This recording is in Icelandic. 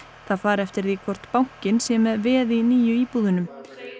það fari eftir því hvort bankinn sé með veð í nýju íbúðunum